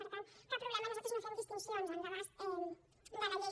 per tant cap problema nosaltres no fem distincions en l’abast de la llei